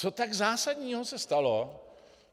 Co tak zásadního se stalo?